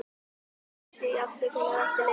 Hann baðst afsökunar eftir leikinn.